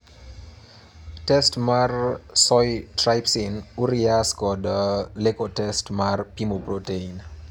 Test mar soy trypsin urease kod LECO test mar pimo protein.